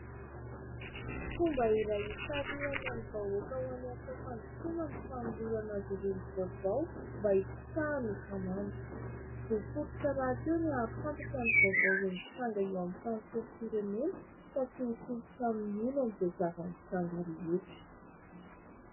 Fomba iray itarihana ny vahoaka ho any amin'ny fampandrosoana ny fanolorana azy ireo ny vaovao mba ho sitrahany isan'andro. Zò fototra rahateo ny ahafantatra ny vaovao mitranga eo amin'ny tantsorom-pirenena ka tsy ho tompon-trano miono amin'izay zava-mitranga rehetra.